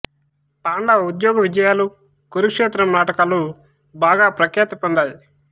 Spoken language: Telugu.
పాండవ ఉద్యోగ విజయాలు కురుక్షేత్రం నాటకాలు బాగా ప్రఖ్యాతి పొందాయి